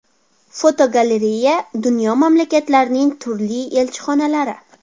Fotogalereya: Dunyo mamlakatlarining turli elchixonalari.